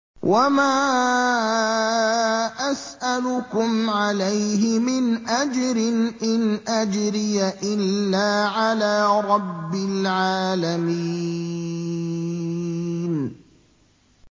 وَمَا أَسْأَلُكُمْ عَلَيْهِ مِنْ أَجْرٍ ۖ إِنْ أَجْرِيَ إِلَّا عَلَىٰ رَبِّ الْعَالَمِينَ